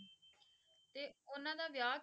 ਤੇ ਉਹਨਾਂ ਦਾ ਵਿਆਹ